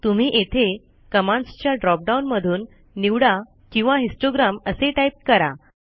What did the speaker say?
तुम्ही येथे कमांडसच्या ड्रॉपडाऊन मधून निवडा किंवा हिस्टोग्राम असे टाईप करा